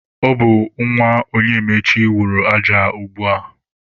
Ọ bụ nwa Onyemaechi wụrụ aja a ugbua.